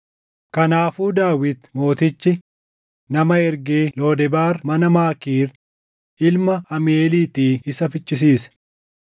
Kanaafuu Daawit mootichi nama ergee Lodebaar mana Maakiir ilma Amiiʼeeliitii isa fichisiise.